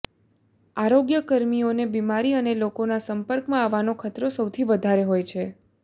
આરોગ્યકર્મીઓને બીમારી અને લોકોના સંપર્કમાં આવવાનો ખતરો સૌથી વધારે હોય છે